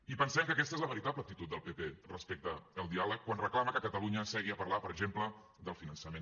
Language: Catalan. i pensem que aquesta és la veritable actitud del pp respecte al diàleg quan reclama que catalunya segui a parlar per exemple del finançament